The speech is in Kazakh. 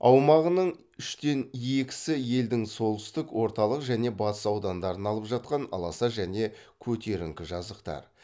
аумағының үштен екісі елдің солтүстік орталық және батыс аудандарын алып жатқан аласа және көтеріңкі жазықтар